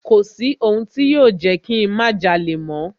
Kọ̀sí ohun tí yóò Jẹ́kí ń má jalè mọ́